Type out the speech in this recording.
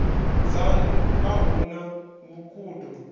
dzanu a hu na vhukhudo